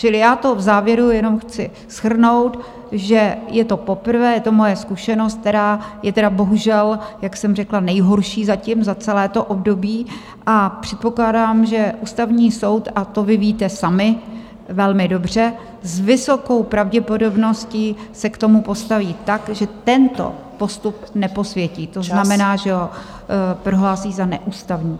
Čili já to v závěru jenom chci shrnout, že je to poprvé, je to moje zkušenost, která je tedy bohužel, jak jsem řekla, nejhorší zatím za celé to období, a předpokládám, že Ústavní soud, a to vy víte sami velmi dobře, s vysokou pravděpodobností se k tomu postaví tak, že tento postup neposvětí, to znamená, že ho prohlásí za neústavní.